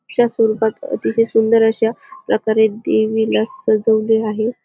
अशा स्वरूपात अतिशय सुंदर अशा प्रकारे देवीला सजवले आहे.